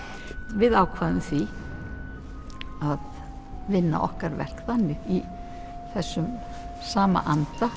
við ákváðum því að vinna okkar verk þannig í þessum sama anda